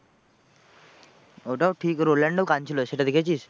ওটাও ঠিক রোলান্ড ও কাঁদছিলো সেটা দেখেছিস?